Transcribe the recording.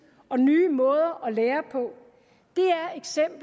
og nye måder at lære på